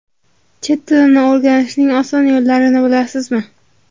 Chet tilini o‘rganishning oson yo‘llarini bilasizmi?.